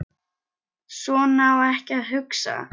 Svona á ekki að hugsa.